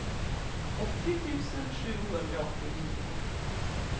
åttio tusen sjuhundraåttionio